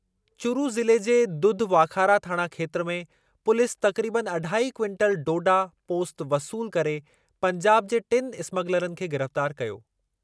चुरू ज़िले जे दुधवाखारा थाणा खेत्रु में पुलीस तक़रीबनि अढाई क्विंटलु डोडा पोस्त वसूलु करे पंजाब जे टिनि इस्मगलरनि खे गिरफ़्तारु कयो।